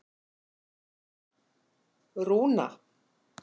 Rúna